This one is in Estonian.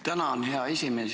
Tänan, hea esimees!